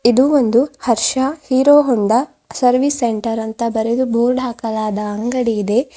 ಇದು ಒಂದು Harsha Hero Honda service centre ಅಂತ ಬರೆದು ಬೋರ್ಡ್ ಹಾಕಲಾದ ಅಂಗಡಿಯಿದೆ.